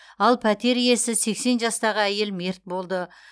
ал пәтер иесі сексен жастағы әйел мерт болды